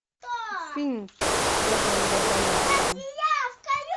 фильм с федором добронравовым